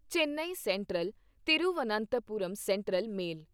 Chennai central Thiruvananthapuram central male